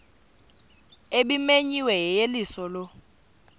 ebimenyiwe yeyeliso lo